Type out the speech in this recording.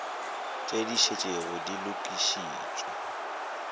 tše di šetšego di lokišitšwe